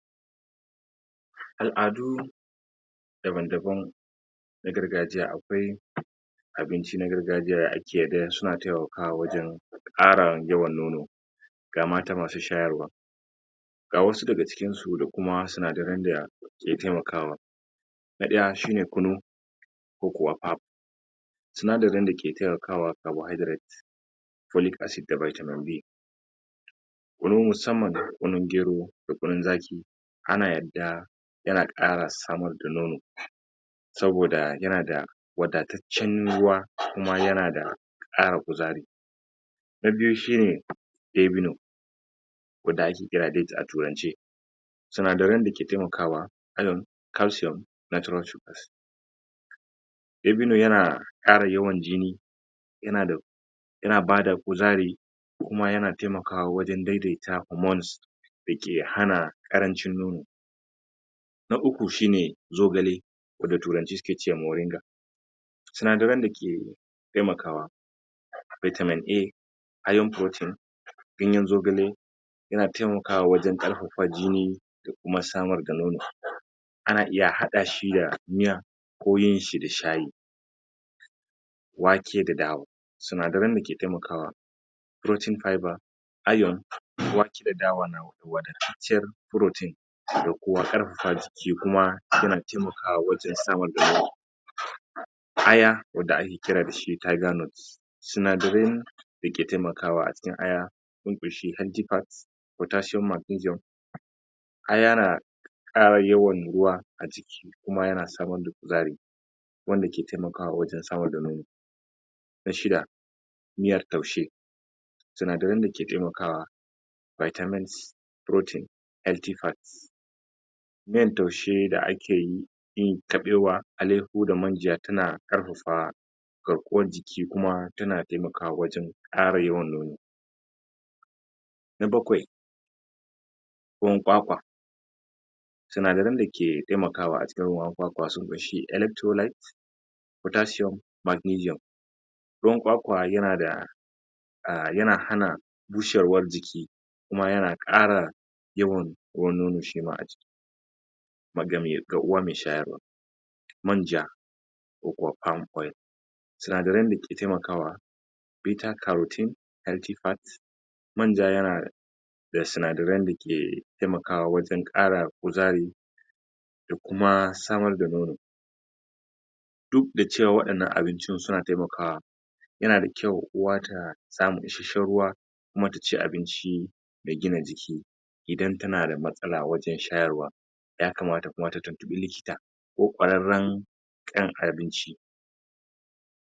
Al'adu daban-daban na gargajiya akwai abinci na gargajiya yadda ake su na taimakawa wajen ƙara yawan nono ga mata masu shayarwa ga wasu daga cikin su da kuma sinadaran da su ke taimakawa na ɗaya shi ne kunu ko kuwa pap sinadarin dake taimakawa carbohydrate folic acid da vitamin B kunu musamman kunun gero da kunun zaƙi ana yadda yana ƙara samar da nono saboda yana da wadataccen ruwa kuma yana da ƙara kuzari na biyu shi ne dabino wanda ake kira dates a turance sinadaran dake taimakawa iron calcium natural dabino yana ƙara yawan jini yana da yana bada kuzari kuma yana taimakawa wajen daidaita hormones da ke hana ƙarancin nono na uku shi ne zogale wanda turanci suke ce moringa sinadaran da ke taimakawa vitamin A iron protein ganyen zogale yana taimakawa wajen ƙarfafa jini da kuma sabunta nono ana iya haɗa shi da miya ko yin shi da shayi wake da dawa sinadaran da ke taimakawa protein fiber iron wake da dawa wanda ke cikin protein da kuma ƙarfafa jiki kuma yana taimakawa wajen sabunta nono aya wanda ake kira da shi tiger nut sinadaran da ke taimakawa a cikin aya sun ƙunshi potasium magnesiumn aya na ƙara yawan ruwa kuma yana samar da kuzari wanda ke taimakawa wajen samar da nono na shida, miyar taushe sinadaran da ke taimakawa vitamin C protein, healthy fat miyan taushe da ake yi yin kabewa, alehu da manja tana ƙarfafa garkuwan jiki kuma tana taimakwa wajen ƙara yawan nono na bakwai, ruwan kwakwa sinadaran da ke taimakawa a cikin ruwan kwakwa sun ƙunshi electrolyte potasium magnesium ruwan kwakwa yana da ah, yana hana bushewar jiki kuma yana ƙara yawan ruwan nono shi ma a jiki magami ga uwa me shayarwa manja ko kuwa palm oil sinadaran da ke taimakawa bitter carotine antifact manja yana da sinadaran da ke taimakawa wajen ƙara kuzari da kuma samar da nono duk da cewa waɗannan abincin suna taimakawa yana da kyau uwa ta samu isashen ruwa kuma ta ci abinci da gina jiki idan tana da matsala wajen shayarwa yakamata uwa ta tuntuɓi likita ko ƙwararran ƙyan abinci.